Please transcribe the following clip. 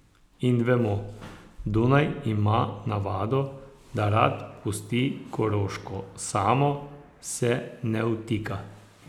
In vemo, Dunaj ima navado, da rad pusti Koroško samo, se ne vtika.